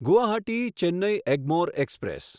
Guwahati Chennai Egmore express